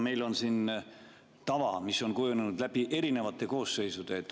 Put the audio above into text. Meil on siin tava, mis on kujunenud läbi erinevate koosseisude.